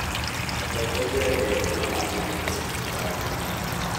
Atongoria erũ marathurirwo thirikarinĩ